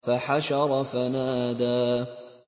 فَحَشَرَ فَنَادَىٰ